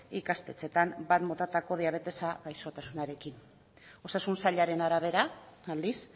ikastetxeetan batgarren motatako diabetesa gaixotasunarekin osasun sailaren arabera aldiz